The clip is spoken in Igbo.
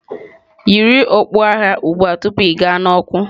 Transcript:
Yiri okpu agha ugbu a tupu ịga n'ọkụ.